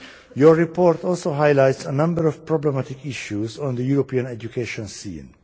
Your report also highlights a number of problematic issues on the European education scene.